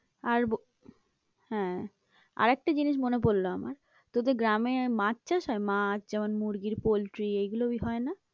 আর হ্যাঁ, আর একটা জিনিস মনে পড়লো আমার তোদের গ্রামে মাছ চাষ হয়? মাছ যেমন মুরগির পোলট্রি এগুলো ওই হয় না?